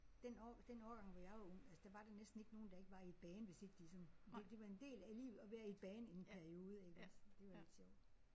Den år den årgang hvor jeg var ung altså der var næsten ikke nogen der ikke var i et band hvis ikke de sådan det det var en del af livet at være i et band i en periode iggås. Det var lidt sjovt